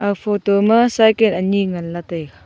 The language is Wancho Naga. photo ma cycle ani ngan lah taiga.